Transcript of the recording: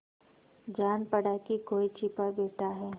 जान पड़ा कि कोई छिपा बैठा है